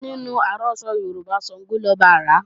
Nínú àrọ́sọ Yoruba, Sàngó lọba àrá